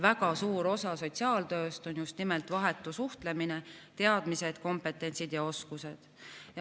Väga suur osa sotsiaaltööst on just nimelt vahetu suhtlemine, teadmised, kompetents ja oskused.